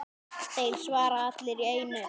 Þeir svara allir í einu.